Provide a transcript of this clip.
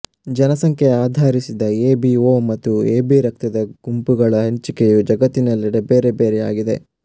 ಜನಸಂಖ್ಯೆಯನ್ನು ಆಧರಿಸಿ A B O ಮತ್ತು ಎಬಿ ರಕ್ತದ ಗುಂಪುಗಳ ಹಂಚಿಕೆಯು ಜಗತ್ತಿನೆಲ್ಲೆಡೆ ಬೇರೆ ಬೇರೆಯಾಗಿದೆ